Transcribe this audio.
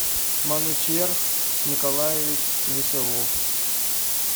манучерх николаевич веселов